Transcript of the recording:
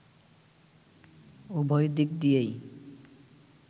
উভয় দিক দিয়েই